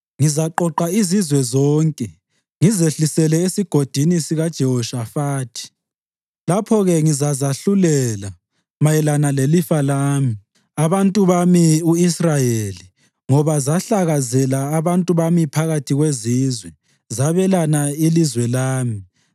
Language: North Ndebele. ngizaqoqa izizwe zonke ngizehlisele eSigodini sikaJehoshafathi. Lapho-ke ngizazahlulela mayelana lelifa lami, abantu bami u-Israyeli ngoba zahlakazela abantu bami phakathi kwezizwe, zabelana ilizwe lami.